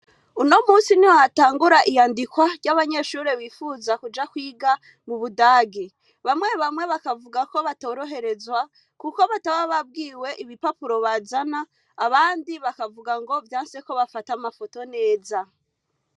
Uno musi ni hatangura iyandikwa ry'abanyeshuri bifuza kuja kwiga mu budagi bamwe bamwe bakavuga ko batoroherezwa, kuko bataba babwiwe ibipapuro bazana abandi bakavuga ngo vya nseko bafata amafoto neza.